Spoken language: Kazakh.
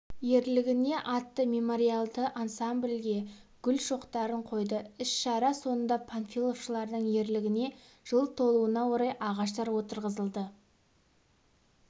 ерлігіне атты мемориалды ансамбльгегүл шоқтарын қойды іс-шара соңында панфиловшылардың ерлігіне жыл толуына орай ағаштар отырғызылды